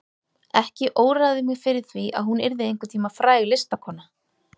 Ekki óraði mig fyrir því að hún yrði einhvern tíma fræg listakona.